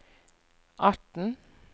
atten